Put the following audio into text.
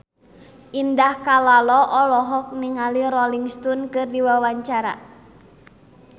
Indah Kalalo olohok ningali Rolling Stone keur diwawancara